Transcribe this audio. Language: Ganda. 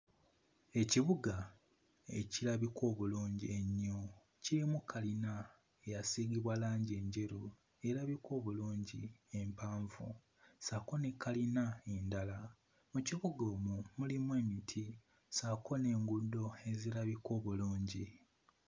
Ekibuga ekirabika obulungi ennyo. Kirimu kalina eyasiigibwa langi enjeru erabika obulungi empanvu ssaako ne kalina endala. Mu kibuga omwo mulimu emiti ssaako n'enguudo ezirabika obulungi.